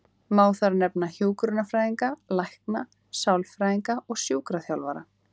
Má þar nefna hjúkrunarfræðinga, lækna, sálfræðinga og sjúkraþjálfara.